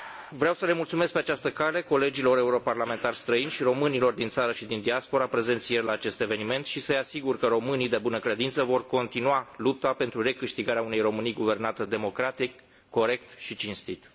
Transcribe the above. Vreau să le mulțumesc pe această cale colegilor europeni străini și românilor din țară și din diaspora prezenți ieri la acest eveniment și să îi asigur că românii de bună credință vor continua lupta pentru recâștigarea unei Românii guvernate democratic, corect și cinstit.